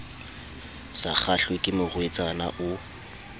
sa kgahlwe ke morwetsana o